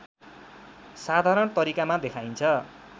साधारण तरिकामा देखाइन्छ